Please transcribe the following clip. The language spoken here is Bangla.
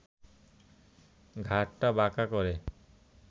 ঘাড়টা বাঁকা করে